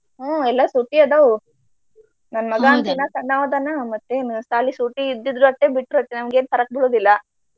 ಹ್ಮ ಎಲ್ಲ ಸೂಟಿ ಅದಾವು ನನ್ನ ಮಗಾ ಅಂತು ಇನ್ನ ಸಣ್ಣಾವ ಅದಾನ ಮತ್ತೇನ ಸಾಲಿ ಸೂಟಿ ಇದ್ದಿದ್ರು ಅಟ ಬಿಟ್ರು ಅಟ ನಮ್ಗೆನ फरक ಬೀಳೋದಿಲ್ಲ.